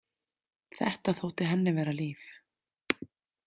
Þetta þótti henni vera líf.